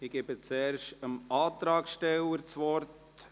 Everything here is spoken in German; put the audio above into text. Ich gebe zuerst dem Antragsteller das Wort.